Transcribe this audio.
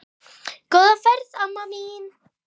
Góða ferð, amma mín.